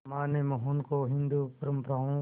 मां ने मोहन को हिंदू परंपराओं